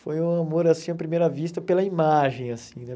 Foi um amor, assim, à primeira vista pela imagem, assim, né?